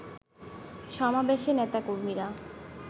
সমাবেশে নেতাকর্মীরা